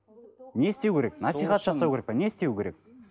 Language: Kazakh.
не істеу керек насихат жасау керек пе не істеу керек